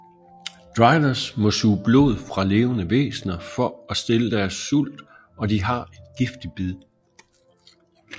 Driders må suge blod fra levende væsner for at stille deres sult og de har et giftigt bid